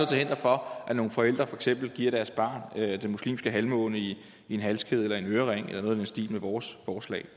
til hinder for at nogle forældre for eksempel giver deres barn den muslimske halvmåne i en halskæde eller en ørering eller noget i den stil med vores forslag